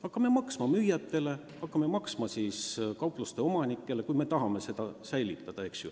Hakkame maksma müüjatele, hakkame maksma kaupluseomanikele, kui me tahame neid poode säilitada.